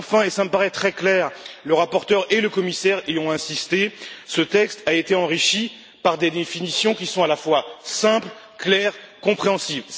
Enfin, et cela me paraît très clair le rapporteur et le commissaire ont insisté sur ce point ce texte a été enrichi par des définitions qui sont à la fois simples, claires et compréhensibles